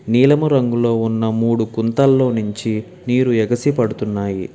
నీలము రంగులో ఉన్న మూడు కుంతల్లో నుంచి నీరు ఎగసి పడుతున్నాయి.